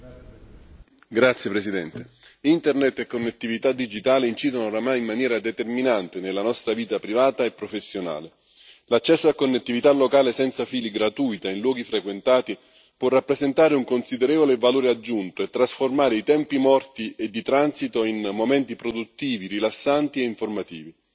Signora Presidente, onorevoli colleghi, Internet e connettività digitale incidono oramai in maniera determinante nella nostra vita privata e professionale. L'accesso a connettività locale senza fili gratuita in luoghi frequentati può rappresentare un considerevole valore aggiunto e trasformare i tempi morti e di transito in momenti produttivi, rilassanti e informativi.